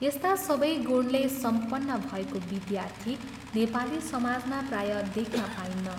यस्ता सबै गुणले सम्पन्न भएको विद्यार्थी नेपाली समाजमा प्राय देख्न पाइन्न।